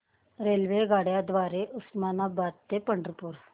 रेल्वेगाड्यां द्वारे उस्मानाबाद ते पंढरपूर